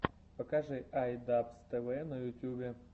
покажи ай дабз тэ вэ на ютубе